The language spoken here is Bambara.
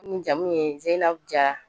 N jamu ye Zeyinabu Jara